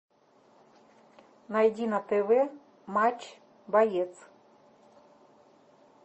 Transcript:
найди на тв матч боец